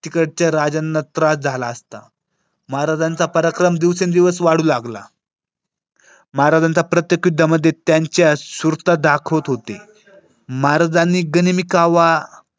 तिकडच्या राज्यांना त्रास झाला असता. महाराजांचा पराक्रम दिवसेंदिवस वाढू लागला महाराजांच्या प्रत्येक त्यामध्ये त्यांच्या सुरता दाखवत होती. महाराजांनी गनिमी कावा.